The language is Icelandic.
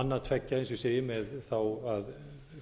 annað tveggja eins og ég segi með að